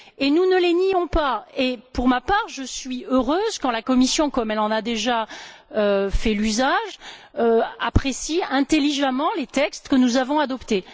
Nous ne les nions pas et, pour ma part, je suis heureuse quand la Commission, comme elle en a déjà fait usage, apprécie intelligemment les textes que nous avons adoptés.